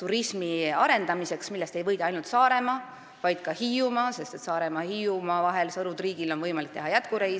turismi arendamiseks, sellest ei võida aga ainult Saaremaa, vaid ka Hiiumaa, sest Saaremaa ja Hiiumaa vahel, Sõru ja Triigi vahel on võimalik teha jätkureis.